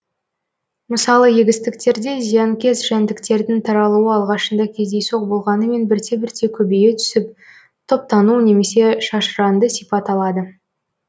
мысалы егістіктерде зиянкес жәндіктердің таралуы алғашында кездейсоқ болғанымен бірте бірте көбейе түсіп топтану немесе шашыранды сипат алады